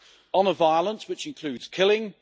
honour violence, which includes killing